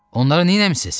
Onları nəmisiz?